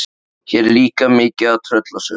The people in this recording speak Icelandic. Hér er líka mikið af tröllasögum.